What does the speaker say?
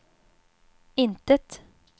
intet